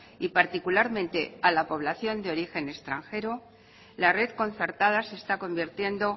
y particularmente a la población de origen extranjero la red concertada se está convirtiendo